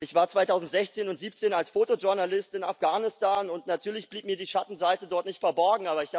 Ich war 2016 und 2017 als Fotojournalist in Afghanistan, und natürlich blieb mir die Schattenseite dort nicht verborgen.